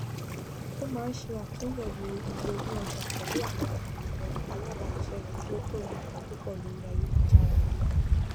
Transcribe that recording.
ó máa ń ṣe atúnyẹwò iye owó ọjà pẹlú àwọn àwọn alábáṣiṣẹ rẹ kí ó tó rà nǹkan púpọ lórí ayélujára